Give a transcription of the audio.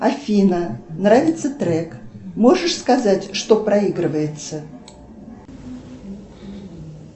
афина нравится трек можешь сказать что проигрывается